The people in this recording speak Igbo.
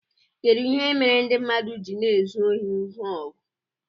kedu ihe mere ndị mmadụ ji na-ezu ohi ngwa ọgụ